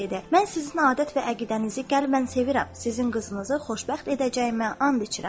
Mən sizin adət və əqidənizi qəlbən sevirəm, sizin qızınızı xoşbəxt edəcəyimə and içirəm.